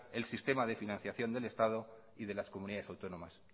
el sistema de financiación del estado y de las comunidades autónomas